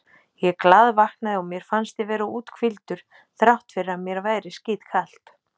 Ég glaðvaknaði og mér fannst ég vera úthvíldur þrátt fyrir að mér væri skítkalt.